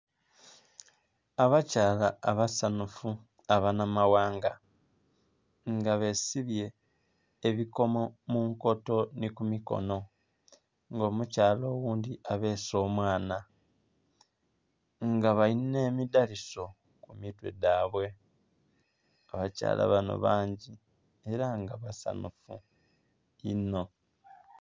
Abakyala abasanhufu abanamawanga nga besibye ebikomo mu nkoto ni ku mikono nga omukyala oghundhi abeese omwana nga balina emidhaliso ku mitwe dhabwe. Abakyala bano bangi ela nga basanhufu inho.